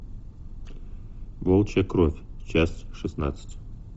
волчья кровь часть шестнадцать